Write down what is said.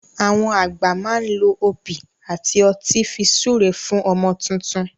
Àwọn àgbà má n lo òbí àti ọtí fi súre fún ọmọ tuntun